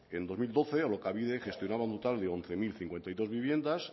en dos mil doce alokabide gestionaba un total de once mil cincuenta y dos viviendas